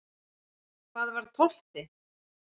Hvað var tólfti?